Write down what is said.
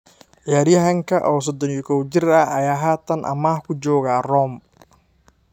Ciyaaryahanka oo 31 jir ah, ayaa haatan amaah ku jooga Rome.